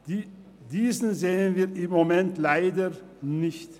Diesen sehen wir im Moment leider nicht.